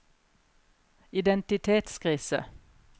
identitetskrise